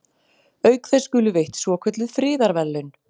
Auk þess skulu veitt svokölluð friðarverðlaun.